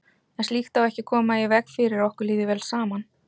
En slíkt á ekki að koma í veg fyrir að okkur líði vel saman.